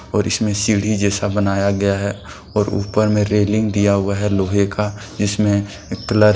और इसमे सीढ़ी जैसा बनाया गया है और ऊपर में रेलिंग दिया हुआ है लोहे का जिसमे क्लर है।